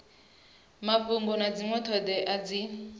mafhungo na dzinwe thodea dzi